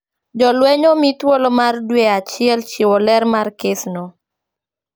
Jolweny omi thuolo mar dwe achiel chiwo ler mar kes no